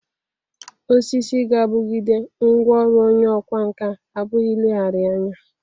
Osisi ga- abụgide ngwa ọrụ onye ọkwa nka apụghi ilegharịa anya.